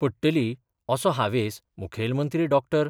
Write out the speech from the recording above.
पडटली असो हावेस मुखेलमंत्री डॉ.